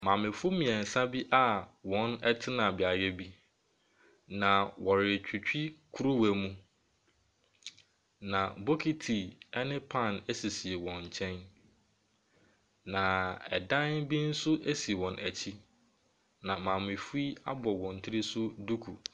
Maamefo mmeɛnsa bi a wɔte beaeɛ bi, na wɔretwitwi kuruwa mu, na bokiti ne pan sisi wɔn nkyɛn, na dan bi nso si wɔn akyi, na maamefo yi abɔ wɔn tiri so duku.